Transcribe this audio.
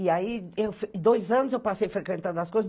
E aí, em dois anos, eu passei frequentando as coisas.